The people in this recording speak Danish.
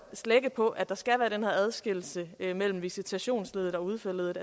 slække på at der skal være den her adskillelse mellem visitationsleddet og udførerleddet